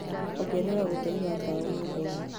ongerera ũtheri waa tawa nyũmba-inĩ